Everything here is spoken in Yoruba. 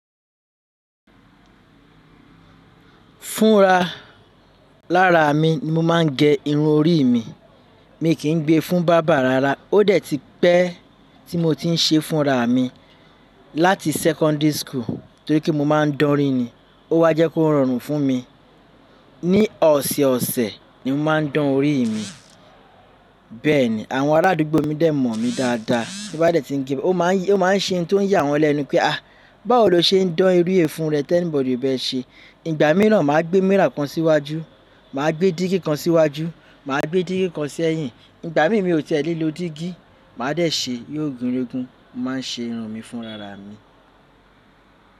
Fúnra lára mi ni mo máa ń gẹ irun orí mi. Mi kì í gbe fún barber rárá. Ó dẹ̀ ti pẹ́ tí mo ti ń ṣe fúnra mi láti secondary school torí pé mo máa ń dánrí ni. Ó wa jẹ́ kó rọrùn fún mi. Ni ọ̀sẹ̀ ọ̀sẹ̀ ni mo máa ń dán orí mi, bẹ́ẹ̀ ni àwọn arádúgbò mi dẹ̀ mọ̀ mi dáadáa. Bí bá dẹ̀ ti ń gẹ, ó máa ń ṣe ohun tó ń yà wọ́n lẹ́nu pé "àí, báwo lo ṣe ń dán orí è fún rẹ̀ tí anybody o bẹ ṣe, ìgbà mìran mà gbé mirror kan síwájú, mà gbé dígí kan síwájú, mà gbé dígí kan sẹ́yìn, ìgbà mi mi ò tiẹ̀ ní lo dígí, mà dẹ̀ ṣe yo gúnrégún, mo má ń ṣe irun mi fúnra ra mi.